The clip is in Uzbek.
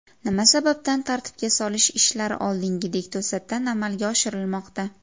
Nima sababdan tartibga solish ishlari oldingidek to‘satdan amalga oshirilmoqda?